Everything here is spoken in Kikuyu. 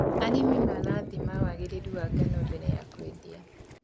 Arĩmi marathima wagĩrĩru wa ngano mbere ya kwendia.